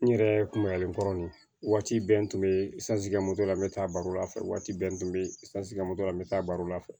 N yɛrɛ kun bɛ kɔrɔ nin waati bɛɛ n tun bɛ sanjika moto la n bɛ taa baroda fɛ waati bɛɛ n tun bɛ la n bɛ taa baro la